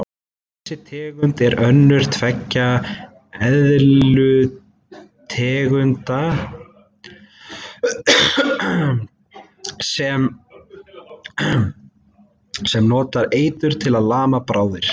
Þessi tegund er önnur tveggja eðlutegunda sem notar eitur til að lama bráðir.